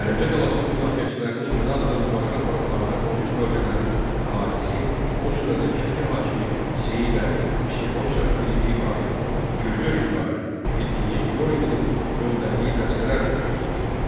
Əlincə qalasının müdafiəçilərinin inadla mübarizə aparmalarına qonşu bölgələrin əhalisi, o cümlədən Şəki hakimi Seyid Əli, Şirvanşahı birinci İbrahim, Gürcü hökmdarı yeddinci Yorqinin göndərdiyi dəstələr də kömək edirdilər.